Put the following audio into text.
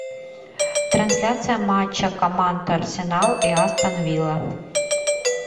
трансляция матча команд арсенал и астон вилла